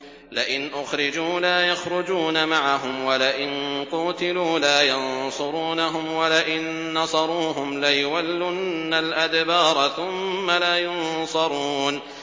لَئِنْ أُخْرِجُوا لَا يَخْرُجُونَ مَعَهُمْ وَلَئِن قُوتِلُوا لَا يَنصُرُونَهُمْ وَلَئِن نَّصَرُوهُمْ لَيُوَلُّنَّ الْأَدْبَارَ ثُمَّ لَا يُنصَرُونَ